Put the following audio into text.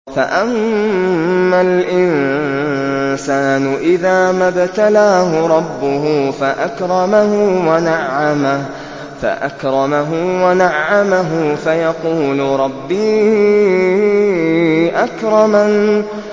فَأَمَّا الْإِنسَانُ إِذَا مَا ابْتَلَاهُ رَبُّهُ فَأَكْرَمَهُ وَنَعَّمَهُ فَيَقُولُ رَبِّي أَكْرَمَنِ